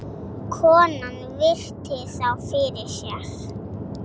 Konan virti þá fyrir sér.